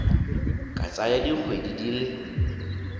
ka tsaya dikgwedi di le